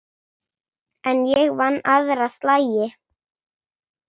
En ég vann aðra slagi.